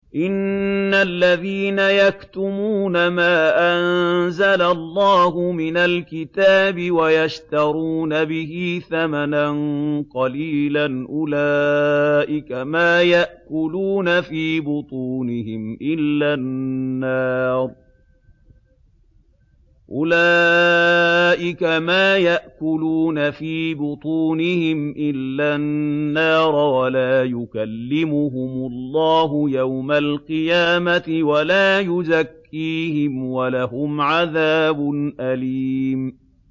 إِنَّ الَّذِينَ يَكْتُمُونَ مَا أَنزَلَ اللَّهُ مِنَ الْكِتَابِ وَيَشْتَرُونَ بِهِ ثَمَنًا قَلِيلًا ۙ أُولَٰئِكَ مَا يَأْكُلُونَ فِي بُطُونِهِمْ إِلَّا النَّارَ وَلَا يُكَلِّمُهُمُ اللَّهُ يَوْمَ الْقِيَامَةِ وَلَا يُزَكِّيهِمْ وَلَهُمْ عَذَابٌ أَلِيمٌ